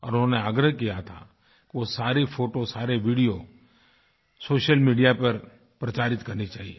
और उन्होंने आग्रह किया था कि वो सारे फ़ोटो सारेवीडियो सोशल मीडिया पर प्रचारित करनी चाहिये